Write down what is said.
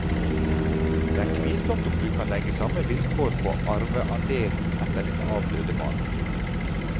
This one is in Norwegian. Det er tvilsomt om du kan legge samme vilkår på arveandelen etter din avdøde mann.